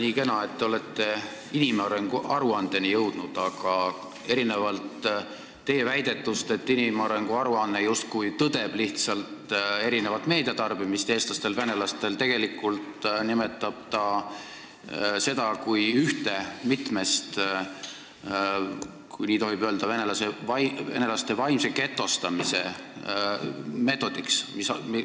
Nii kena, et te olete inimarengu aruandeni jõudnud, aga erinevalt teie väidetust, et see aruanne justkui lihtsalt tõdeb eestlaste ja venelaste erinevat meediatarbimist, nimetatakse seda seal tegelikult üheks venelaste vaimse getostamise meetodiks, kui nii tohib öelda.